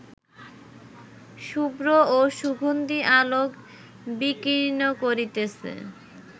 শুভ্র ও সুগন্ধি আলোক বিকীর্ণ করিতেছে